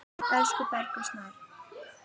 Elsku Bergur Snær.